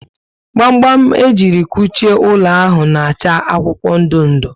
gba gba m ejiri kuchie ụlọ ahụ na acha akwụkwọ ndị ndụ